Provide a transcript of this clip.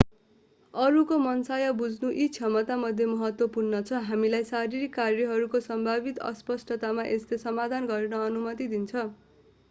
अरूको मनसाय बुझ्नु यी क्षमतामध्ये महत्त्वपूर्ण छ हामीलाई शारीरिक कार्यहरूको सम्भावित अस्पष्टतामा यसले समाधान गर्न अनुमति दिन्छ